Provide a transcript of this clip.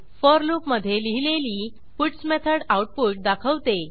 four लूपमधे लिहिलेली puts method output दाखवते